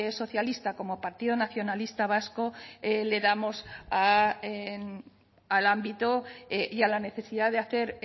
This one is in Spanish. socialista como partido nacionalista vasco le damos al ámbito y a la necesidad de hacer